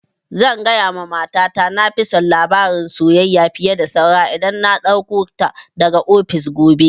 Zan gaya wa mata ta na fi son labarin soyayya fiye da saura in na ɗauko ta daga ofis gobe